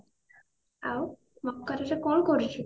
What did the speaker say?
ଆଉ ମକରରେ କଣ କରୁଛୁ?